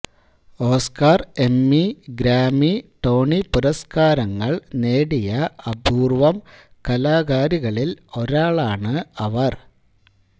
Oscar Emmy Grammy Tony പുരസ്കാരങ്ങൾ നേടിയ അപൂർവ്വം കലാകാരികളിൽ ഒരാളാണ് അവർ